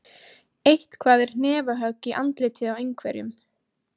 Eitthvað er hnefahögg í andlitið á einhverjum